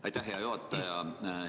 Aitäh, hea juhataja!